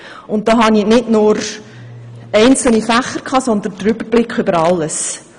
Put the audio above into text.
Damals hatte ich nicht nur einzelne Fächer, sondern den Überblick über alles.